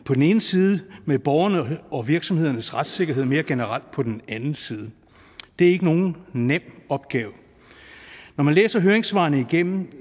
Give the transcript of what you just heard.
på den ene side med borgernes og virksomhedernes retssikkerhed mere generelt på den anden side det er ikke nogen nem opgave når man læser høringssvarene igennem